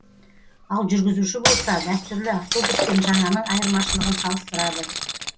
ал жүргізуші болса дәстүрлі автобус пен жаңаның айырмашылығын салыстырады